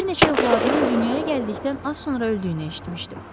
Bir neçə övladının dünyaya gəldikdən az sonra öldüyünü eşitmişdim.